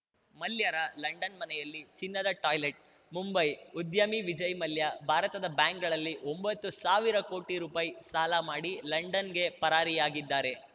ಮಲ್ಯರ London ಮನೆಯಲ್ಲಿ ಚಿನ್ನದ toilet Mumbai ಉದ್ಯಮಿ ವಿಜಯ್‌ ಮಲ್ಯ ಭಾರತದ ಬ್ಯಾಂಕ್‌ಗಳಲ್ಲಿ ಒಂಬತ್ತು ಸಾವಿರ ಕೋಟಿ ರುಪಾಯಿ ಸಾಲ ಮಾಡಿ ಲಂಡನ್‌ಗೆ ಪರಾರಿಯಾಗಿದ್ದಾರೆ